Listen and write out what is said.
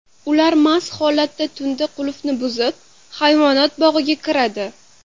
Ular mast holda tunda qulfni buzib, hayvonot bog‘iga kiradi.